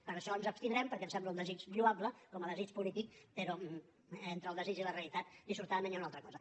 per això ens abstindrem perquè ens sembla un desig lloable com a desig polític però entre el desig i la realitat dissortadament hi ha una altra cosa